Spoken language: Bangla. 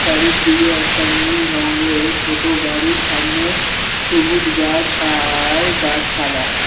চারিদিকে একটা নীল রংয়ের ছোটো বাড়ি সামনে সবুজ গাছ আর গাছফালা ।